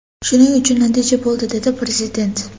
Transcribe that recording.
Shuning uchun natija bo‘ldi”, – dedi Prezident.